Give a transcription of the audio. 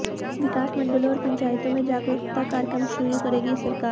विकास मंडलों और पंचायतों में जागरूकता कार्यक्रम शुरू करेगी सरकार